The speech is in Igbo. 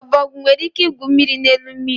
Ọbọgwụ nwere ike igwu mmiri n'elu mmiri.